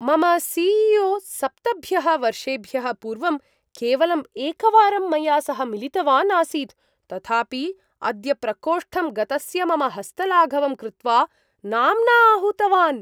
मम C E O सप्तभ्यः वर्षेभ्यः पूर्वं, केवलं एकवारं मया सह मिलितवान् आसीत्, तथापि अद्य प्रकोष्ठं गतस्य मम हस्तलाघवं कृत्वा, नाम्ना आहूतवान्।